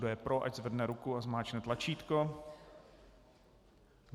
Kdo je pro, ať zvedne ruku a zmáčkne tlačítko.